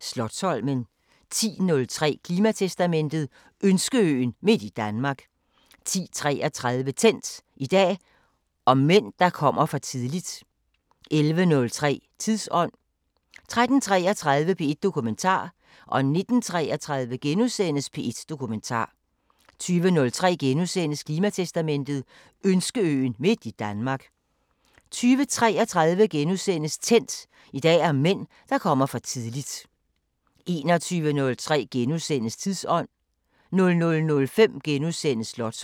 Slotsholmen 10:03: Klimatestamentet: Ønskeøen midt i Danmark 10:33: Tændt: I dag om mænd, der kommer for tidligt 11:03: Tidsånd 13:33: P1 Dokumentar 19:33: P1 Dokumentar * 20:03: Klimatestamentet: Ønskeøen midt i Danmark * 20:33: Tændt: I dag om mænd, der kommer for tidligt * 21:03: Tidsånd * 00:05: Slotsholmen *